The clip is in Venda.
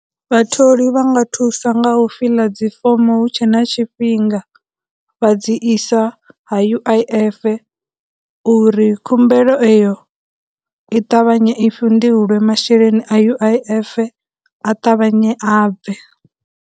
Vhatholi vha nga thusa nga u fiḽa dzi fomo hu tshe na tshifhinga vha dzi isa ha U_I_F uri khumbelo eyo i ṱavhanye i fhindulwe masheleni a U_I_F a ṱavhanye a bve.